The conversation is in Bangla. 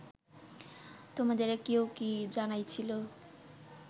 তোমাদেরে কেউ কি জানাইছিল